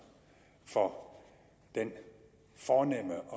for den fornemme